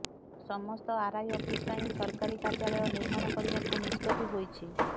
ତେଣୁ ସମସ୍ତ RI office ପାଇଁ ସରକାରୀ କାର୍ଯ୍ୟାଳୟ ନିର୍ମାଣ କରିବାକୁ ନିଷ୍ପତ୍ତି ହୋଇଛି